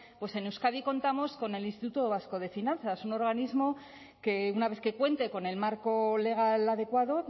pues en euskadi contamos con el instituto vasco de finanzas un organismo que una vez que cuente con el marco legal adecuado